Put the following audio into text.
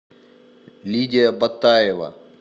лидия батаева